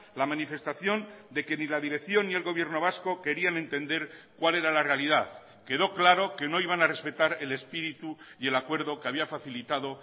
la manifestación de que ni la dirección ni el gobierno vasco querían entender cuál era la realidad quedó claro que no iban a respetar el espíritu y el acuerdo que había facilitado